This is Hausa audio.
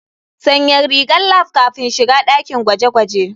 Sanya rigar lab kafin shiga dakin gwaje-gwaje.